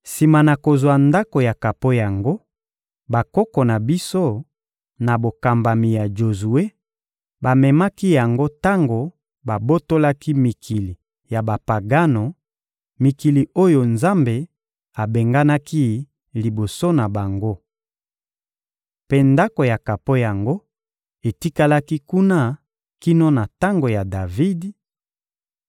Sima na kozwa Ndako ya kapo yango, bakoko na biso na bokambami ya Jozue, bamemaki yango tango babotolaki mikili ya Bapagano, mikili oyo Nzambe abenganaki liboso na bango. Mpe Ndako ya kapo yango etikalaki kuna kino na tango ya Davidi;